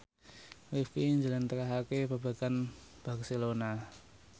Rifqi njlentrehake babagan Barcelona